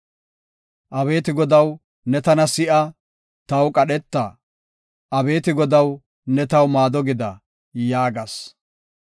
Abeeti Godaw, ne tana si7a; taw qadheta. Abeeti Godaw, ne taw maado gida” yaagas.